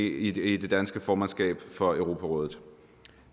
i det danske formandskab for europarådet